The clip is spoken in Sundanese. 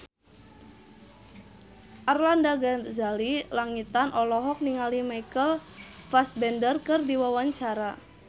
Arlanda Ghazali Langitan olohok ningali Michael Fassbender keur diwawancara